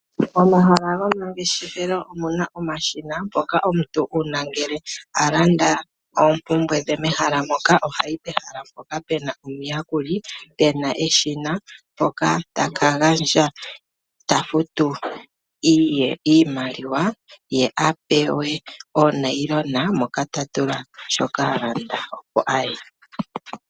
Momahala go mangeshefelo omuna omashina ngoka omuntu una ngele alanda oompumbwe dhe mehala moka ohayi pehala mpoka puna omuyakuli puna eshina tafutu iimaliwa ye apewe onayilona moka tatula shoka alanda opo aye.